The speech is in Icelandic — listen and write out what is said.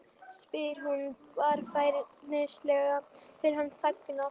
spyr hún varfærnislega þegar hann þagnar.